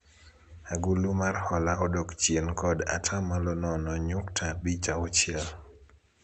agulu mar hola odok chien kod atamalo nono nyukta abich auchiel